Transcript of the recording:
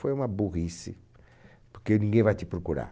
Foi uma burrice, porque ninguém vai te procurar.